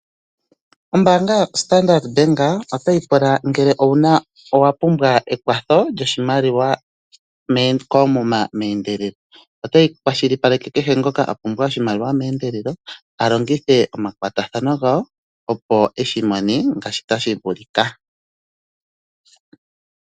Ombaanga yoStandard Bank otayi pula ngele owa pumbwa ekwatho lyoshimaliwa koomuma meendelelo. Ota yi kwashilipaleke kehe ngoka a pumbwa oshimaliwa meendelelo a longithe omakwatathano gawo opo eshi mone ngaashi tashi vulika.